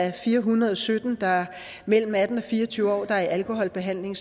er fire hundrede og sytten mellem atten og fire og tyve år der er i alkoholbehandling